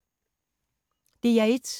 DR1